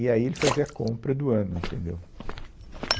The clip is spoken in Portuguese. E aí ele fazia a compra do ano, entendeu?